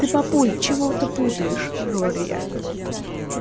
ты папуль чего-то путаешь говорю я